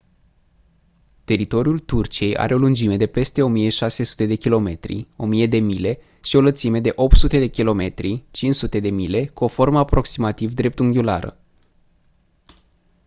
teritoriul turciei are o lungime de peste 1600 de kilometri 1000 de mile și o lățime de 800 km 500 de mile cu o formă aproximativ dreptunghiulară